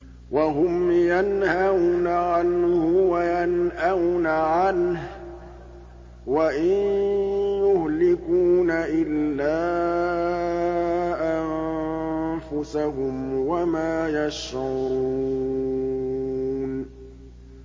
وَهُمْ يَنْهَوْنَ عَنْهُ وَيَنْأَوْنَ عَنْهُ ۖ وَإِن يُهْلِكُونَ إِلَّا أَنفُسَهُمْ وَمَا يَشْعُرُونَ